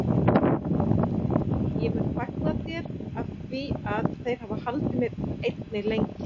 En ég mun fagna þér afþvíað þeir hafa haldið mér einni lengi.